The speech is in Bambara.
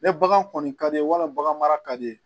Ni bagan kɔni ka di ye walima bagan mara ka di i ye